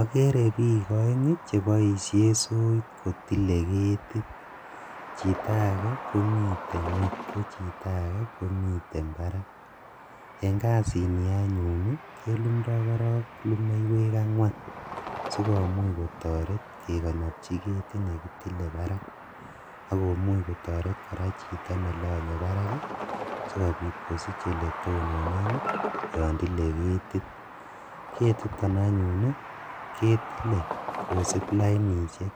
Okeree biik oeng cheboishen soiit kotile ketit, chito akee komiten ngweny ko chito akee komiten barak, en kasini anyun kelumdo korong lumeiwek ang'wan sikomuuch kotoret kekonobchi ketit nekitile barak akomuch kotoret kora chito nelonye barak sikobit kosich eletononen yoon tilee ketit, ketiton anyun ii ketilee kosib lainishek